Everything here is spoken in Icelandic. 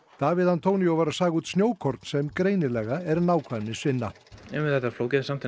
Davíð antonio var að saga út snjókorn sem greinilega er nákvæmnisvinna þetta er flókið en samt